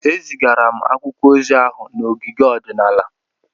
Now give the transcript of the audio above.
Ezigara m akwụkwọ ozi ahụ n'ogige ọdịnala.